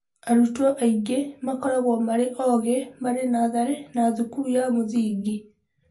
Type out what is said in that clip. Arutwo aingĩ makoragwo marĩ ogĩ marĩ natharĩ na thukuru ya mũthingi.